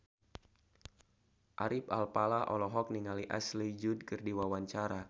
Ari Alfalah olohok ningali Ashley Judd keur diwawancara